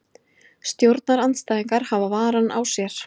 Stjórnarandstæðingar hafa varann á sér